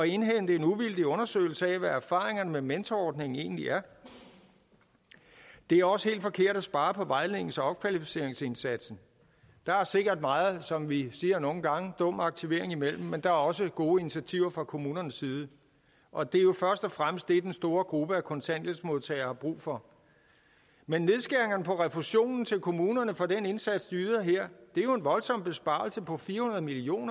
indhente en uvildig undersøgelse af hvad erfaringerne med mentorordningen egentlig er det er også helt forkert at spare på vejlednings og opkvalificeringsindsatsen der er sikkert meget som vi siger nogle gange er dum aktivering men der er også gode initiativer fra kommunernes side og det er jo først og fremmest det den store gruppe af kontanthjælpsmodtagere har brug for men nedskæringerne på refusionen til kommunerne for den indsats de yder her er jo en voldsom besparelse på fire hundrede million